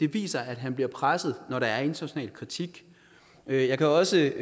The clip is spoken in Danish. viser at han bliver presset når der er international kritik jeg kan også